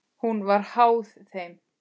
Hún var háð þeim.